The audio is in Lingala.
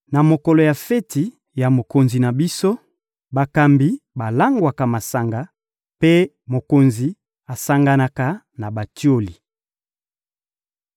Na mokolo ya feti ya mokonzi na biso, bakambi balangwaka masanga mpe mokonzi asanganaka na batioli.